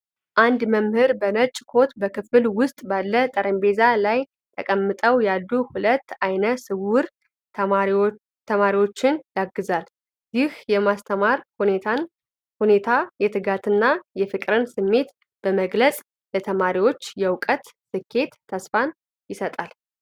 አንድ መምህር በነጭ ኮት፣ በክፍል ውስጥ ባለ ጠረጴዛ ላይ ተቀምጠው ያሉ ሁለት ዓይነ ስውር ተማሪዎችን ያግዛል። ይህ የማስተማር ሁኔታ የትጋትንና የፍቅርን ስሜት በመግለጽ ለተማሪዎቹ የእውቀት ስኬት ተስፋን ይሰጣል።